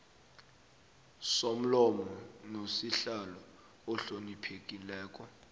somlomo nosihlalo ohloniphekileko